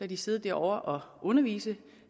de sidde derovre og undervise